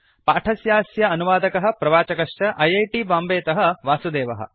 पाठस्यास्य अनुवादकः प्रवाचकश्च ऐ ऐ टी बाम्बेतः वासुदेवः